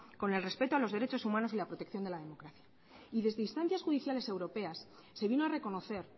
con el respeto a los derechos humanos y la protección de la democracia y desde instancias judiciales europeas se vino a reconocer